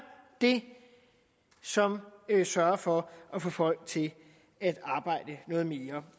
det som sørger for at få folk til at arbejde noget mere